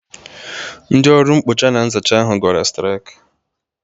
Ndị ọrụ mkpocha na nzacha ahụ gbara straikụ.